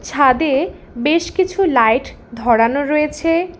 ছাদে বেশ কিছু লাইট ধরানো রয়েছে।